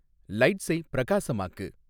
லைட்ஸை பிரகாசமாக்கு